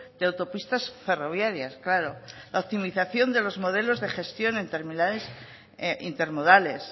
de autopistas ferroviarias claro la optimización de los modelos de gestión en terminales intermodales